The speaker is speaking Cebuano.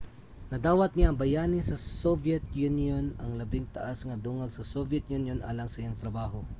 nadawat niya ang bayani sa soviet union ang labing taas nga dungog sa soviet union alang sa iyang trabaho